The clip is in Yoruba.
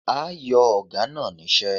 A yo Oga na nise